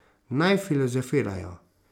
Naj filozofirajo.